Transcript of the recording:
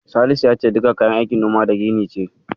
Salisu ya ce Diga kayan aikin Noma da Gini ce.